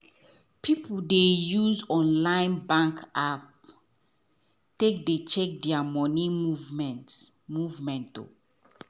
people dey use online bank app take dey check there money movement movement